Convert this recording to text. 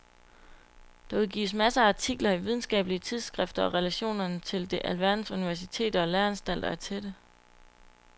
Der udgives masser af artikler i videnskabelige tidsskrifter og relationerne til alverdens universiteter og læreanstalter er tætte.